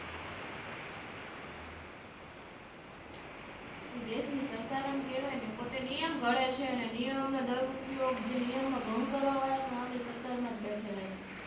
આપણા દેશ ની સરકાર આમ કેવાય ને પોતે નિયમ ઘડે છે ને અને નિયમ નો દૂર ઉપયોગ નિયમ નો ભંગ કરવા વાળા આપની સરકારમજ બેઠેલા છે